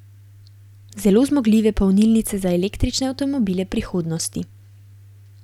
Zelo zmogljive polnilnice za električne avtomobile prihodnosti.